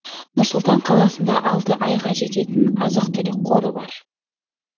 нұр сұлтан қаласында алты айға жететін азық түлік қоры бар